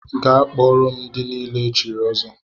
Gaa kpọọrọ m ndị niile e chiri ọzọ!